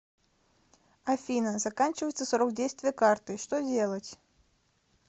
афина заканчивается срок действия карты что делать